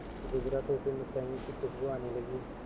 गुजरा तो उसे मिठाइयों की खुशबू आने लगी